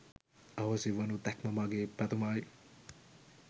අහෝසි වනු දැක්ම මගේ පැතුමයි.